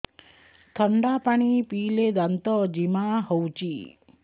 ଥଣ୍ଡା ପାଣି ପିଇଲେ ଦାନ୍ତ ଜିମା ହଉଚି